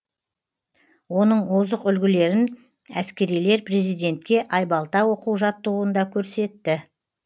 оның озық үлгілерін әскерилер президентке айбалта оқу жаттығуында көрсетті